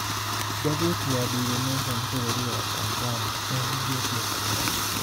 Ngathĩti ya Daily nation n bũrũri wa Tanzania nĩĩhingĩtwo kaimana